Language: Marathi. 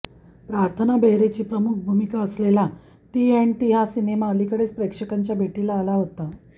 प्रार्थना बेहरेची प्रमुख भूमिका असलेला ती अॅण्ड ती हा सिनेमा अलीकडेच प्रेक्षकांच्या भेटीला आला होता